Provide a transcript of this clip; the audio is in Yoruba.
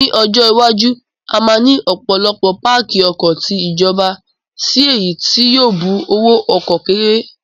Ní ọjọ́ iwájú, a máa ní ọ̀pọ̀lọpọ̀ páàkì ọkọ̀ ti ìjọba si èyí tí yóò bu owó ọkọ̀ kéré